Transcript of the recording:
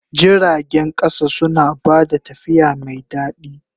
Jiragen ƙasa suna ba da tafiya mai daɗi.